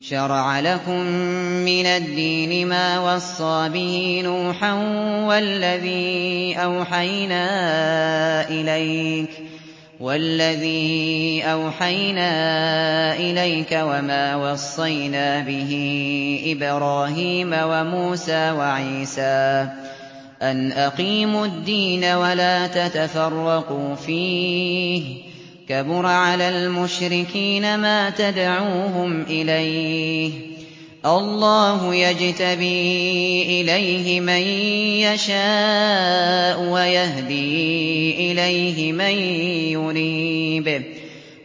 ۞ شَرَعَ لَكُم مِّنَ الدِّينِ مَا وَصَّىٰ بِهِ نُوحًا وَالَّذِي أَوْحَيْنَا إِلَيْكَ وَمَا وَصَّيْنَا بِهِ إِبْرَاهِيمَ وَمُوسَىٰ وَعِيسَىٰ ۖ أَنْ أَقِيمُوا الدِّينَ وَلَا تَتَفَرَّقُوا فِيهِ ۚ كَبُرَ عَلَى الْمُشْرِكِينَ مَا تَدْعُوهُمْ إِلَيْهِ ۚ اللَّهُ يَجْتَبِي إِلَيْهِ مَن يَشَاءُ وَيَهْدِي إِلَيْهِ مَن يُنِيبُ